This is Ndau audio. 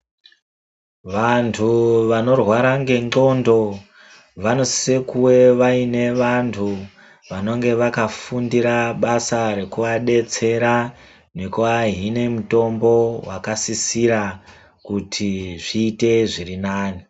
Vantuu vanorwaara ngendxondo vanosise kuwe vaine vantu vanonge vakafundira basa rekuva detsera nekuvahine mutombo wakasisira kuti zviite zviri nane.